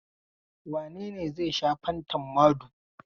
Wane ne ya sha fantan Mado?